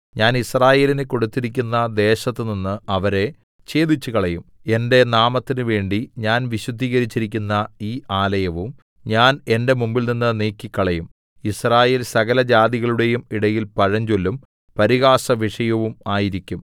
ഞാൻ യിസ്രായേലിന് കൊടുത്തിരിക്കുന്ന ദേശത്തുനിന്ന് അവരെ ഛേദിച്ചുകളയും എന്റെ നാമത്തിന് വേണ്ടി ഞാൻ വിശുദ്ധീകരിച്ചിരിക്കുന്ന ഈ ആലയവും ഞാൻ എന്റെ മുമ്പിൽനിന്ന് നീക്കിക്കളയും യിസ്രായേൽ സകലജാതികളുടെയും ഇടയിൽ പഴഞ്ചൊല്ലും പരിഹാസവിഷയവും ആയിരിക്കും